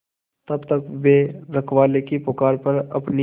तब तक वे रखवाले की पुकार पर अपनी